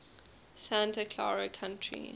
santa clara county